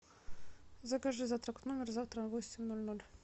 закажи завтрак в номер завтра в восемь ноль ноль